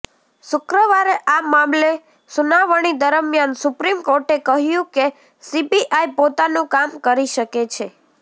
શુક્રવારે આ મામલે સુનાવણી દરમિયાન સુપ્રીમ કોર્ટે કહ્યું કે સીબીઆઇ પોતાનું કામ કરી શકે છે